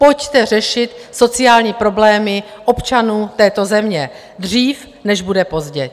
Pojďte řešit sociální problémy občanů této země dřív, než bude pozdě.